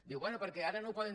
diu bé perquè ara no ho poden